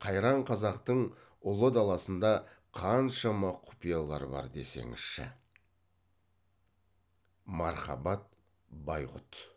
қайран қазақтың ұлы даласында қаншама құпиялар бар десеңізші мархабат байғұт